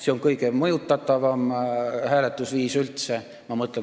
See on kõige mõjutatavam hääletusviis üldse.